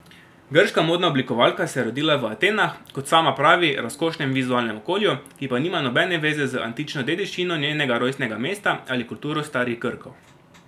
Grška modna oblikovalka se je rodila v Atenah v, kot sama pravi, razkošnem vizualnem okolju, ki pa nima nobene zveze z antično dediščino njenega rojstnega mesta ali kulturo starih Grkov.